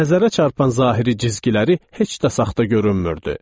Nəzərə çarpan zahiri cizgiləri heç də saxta görünmürdü.